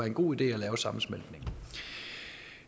en god idé at lave sammensmeltningen